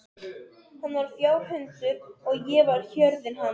Hann var fjárhundur og ég var hjörðin hans.